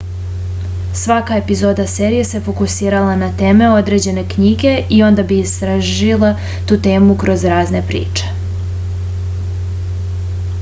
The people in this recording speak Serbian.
svaka epizoda serije se fokusirala na teme određene knjige i onda bi istražila tu temu kroz razne priče